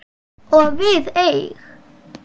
Og við eig